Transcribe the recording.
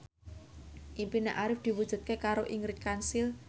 impine Arif diwujudke karo Ingrid Kansil